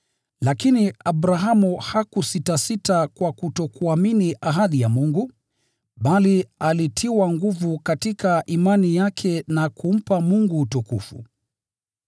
Lakini Abrahamu hakusitasita kwa kutokuamini ahadi ya Mungu, bali alitiwa nguvu katika imani yake na kumpa Mungu utukufu,